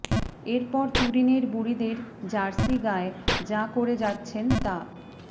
এরপর তুরিনের বুড়িদের জার্সি গায়ে যা করে যাচ্ছেন তা